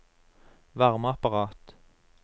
varmeapparat